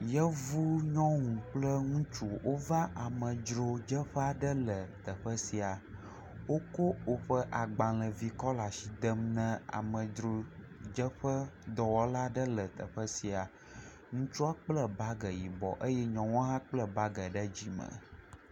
Yevunyɔnu kpl ŋutsu wova amedzrodzeƒe aɖe le teƒe sia, wotsɔ woƒe agbalẽvi aɖe le asi dem na amedzrodzeƒedɔwɔla le teƒe sia, ŋutsu kple bage yibɔ eye nyɔnua hã kple bage ɖe dzi me.